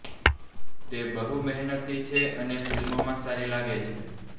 તે બહુ મહેનતી છે અને ફિલ્મમાં સારી લાગે છે